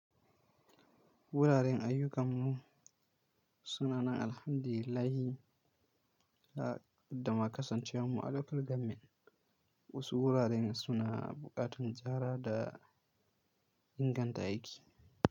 Wuraren ayyukan mu suna nan Alhamdu lillahi da ma kasance wan mu a local government. Wasu wuraren suna buƙatar ziyara da inganta aiki.